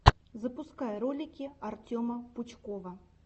запускай ролики артема пучкова